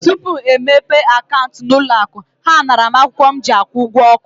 Tupu e mepee akaụntụ n'ụlọ akụ, ha naara m akwụkwọ m ji akwụ ụgwọ ọkụ.